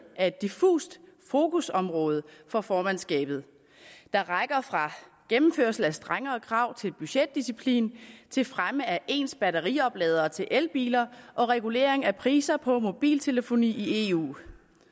af et diffust fokusområde for formandskabet der rækker fra gennemførelse af strengere krav til budgetdisciplin til fremme af ens batteriopladere til elbiler og regulering af priser på mobiltelefoni i eu